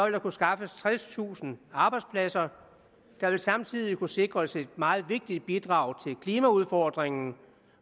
der kunne skaffes tredstusind arbejdspladser der vil samtidig kunne sikres et meget vigtigt bidrag til klimaudfordringen